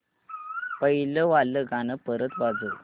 पहिलं वालं गाणं परत वाजव